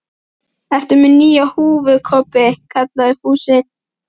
Ertu með nýja húfu Kobbi? kallaði Fúsi.